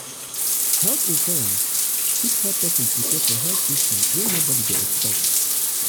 health insurance fit help person prepare for health issue wey nobody dey expect